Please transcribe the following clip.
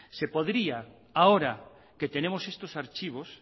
se podría ahora que tenemos estos archivos